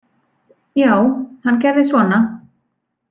Já, hann gerði svona